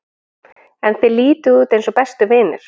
En þið lítið út eins og bestu vinir?